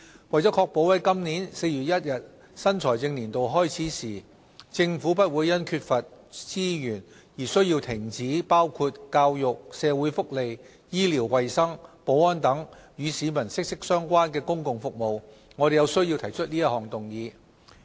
為確保在今年4月1日新財政年度開始時，政府不會因缺乏資源而需要停止包括教育、社會福利、醫療衞生、保安等與市民息息相關的公共服務，我們有需要提出這項議案。